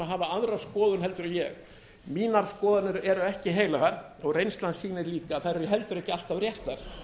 hafa aðra skoðun heldur en ég mínar skoðanir eru ekki heilagar og reynslan sýnir líka að þær eru heldur ekki alltaf réttar